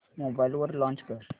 mobile वर launch कर